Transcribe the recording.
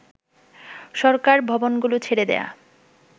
সরকার ভবনগুলো ছেড়ে দেয়া